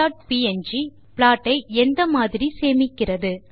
savefigsineப்ங் ப்லாட்டை இந்த மாதிரி சேமிக்கிறது